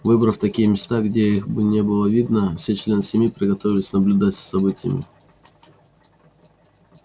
выбрав такие места где их бы не было видно все члены семьи приготовились наблюдать за событиями